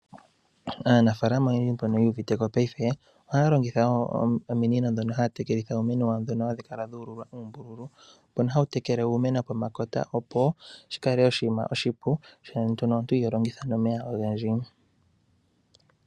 Aanafaalama oyendji mbono yu uviteko paife, ohaya longitha ominino ndhono haya tekelitha uumeno wawo. Ndhono hadhi kala dhu ululwa uumbululu mbono hawu tekele uumeno pomakota opo shikale oshinima oshipu , sho nduno omuntu iho longitha nomeya ogendji.